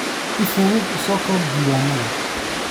Si fudud u soo koob diiwaannada.